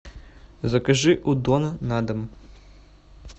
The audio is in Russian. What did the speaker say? закажи у дона на дом